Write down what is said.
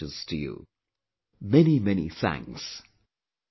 Many many Thanks